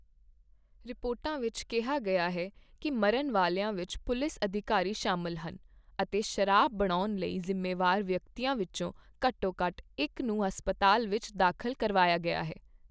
ਰਿਪੋਰਟਾਂ ਵਿੱਚ ਕਿਹਾ ਗਿਆ ਹੈ ਕੀ ਮਰਨ ਵਾਲਿਆਂ ਵਿੱਚ ਪੁਲਿਸ ਅਧਿਕਾਰੀ ਸ਼ਾਮਲ ਹਨ, ਅਤੇ ਸ਼ਰਾਬ ਬਣਾਉਣ ਲਈ ਜ਼ਿੰਮੇਵਾਰ ਵਿਅਕਤੀਆਂ ਵਿੱਚੋਂ ਘੱਟੋ ਘੱਟ ਇੱਕ ਨੂੰ ਹਸਪਤਾਲ ਵਿੱਚ ਦਾਖਲ ਕਰਵਾਇਆ ਗਿਆ ਹੈ।